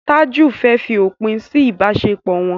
Taju fè fí òpin sí ibaṣepọ wón.